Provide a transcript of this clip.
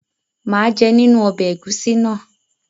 mà á jẹ nínú ọbẹ́ ẹ̀gúsí náà.